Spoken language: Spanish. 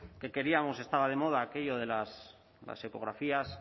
que queríamos estaba de moda aquello de las ecografías